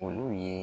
Olu ye